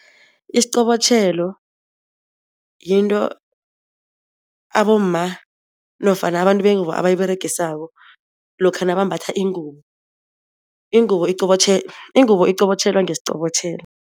Isiqobotjhelo yinto abomma nofana abantu bengubo abayiberegisako lokha nabambatha ingubo. Ingubo iqobotjhelwa ngesiqobotjhelo.